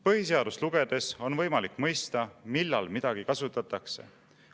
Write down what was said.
Põhiseadust lugedes on võimalik mõista, millal midagi kasutatakse.